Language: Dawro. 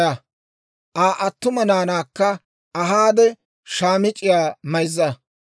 Aa attuma naanaakka ahaade shaamic'c'iyaa mayza.